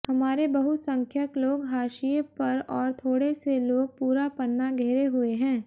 हमारे बहुसंख्यक लोग हाशिए पर और थोड़े से लोग पूरा पन्ना घेरे हुए हैं